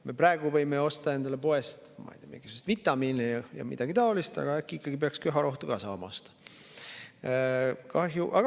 Me praegu võime osta endale poest mingisuguseid vitamiine ja midagi taolist, aga äkki ikkagi peaks köharohtu ka saama osta.